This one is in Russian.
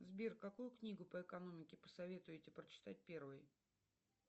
сбер какую книгу по экономике посоветуете прочитать первой